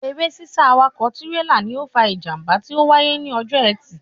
Eré sísá awakọ̀ tírélà ni ó fa ìjàmbá tí ó wáyé ní ọjọ́ ẹtì